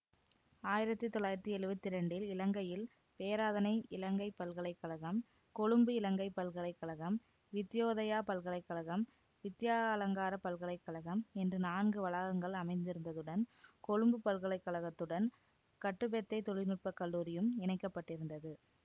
ஆயிரத்தி தொள்ளாயிரத்தி எழுவத்தி இரண்டில் இலங்கையில் பேராதனை இலங்கைப்பல்கலைக்கழகம் கொழும்பு இலங்கைப்பல்கலைக்கழகம் வித்யோதயா பல்கலை கழகம் வித்யாலங்காரப் பல்கலை கழகம் என்ற நான்கு வளாகங்கள் அமைந்திருந்ததுடன் கொழும்புப் பல்கலை கழகத்துடன் கட்டுபெத்தை தொழிநுட்பக் கல்லூரியும் இணைக்கப்பட்டிருந்தது